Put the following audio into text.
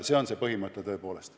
See on meie põhimõte, tõepoolest.